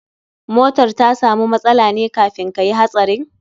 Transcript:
Motar ta samu matsala ne kafin kayi hatsarin?